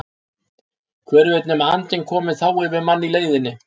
Hver veit nema andinn komi þá yfir mann í leiðinni!